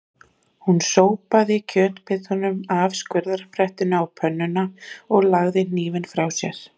Hún sópaði kjötbitunum af skurðbrettinu á pönnuna og lagði hnífinn frá sér.